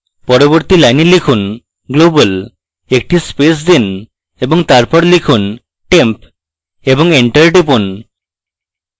পরবর্তী line লিখুন global একটি space দিন এবং তারপর লিখুন temp এবং enter টিপুন